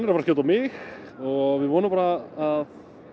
að skjóta mig og við vonum bara að